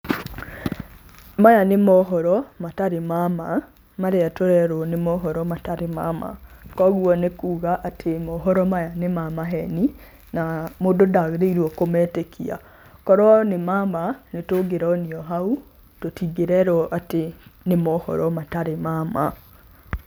Maya nĩ mohoro matarĩ ma ma marĩa tũrerwo nĩ mohoro matarĩ ma ma. Koguo nĩ kuga atĩ mohoro maya nĩ ma maheni na mũndũ ndagĩrĩirwo kũmetĩkia. Korwo nĩ ma ma, nĩ tũngĩronio hau, tũtingĩrerwo atĩ nĩ mohoro matarĩ ma ma.